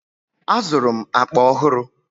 Azụrụ m akpa ọhụrụ.